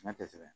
tɛ sɛbɛn